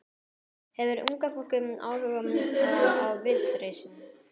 Hefur unga fólkið áhuga á Viðreisn?